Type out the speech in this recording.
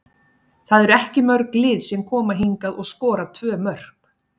Það eru ekki mörg lið sem koma hingað og skora tvö mörk.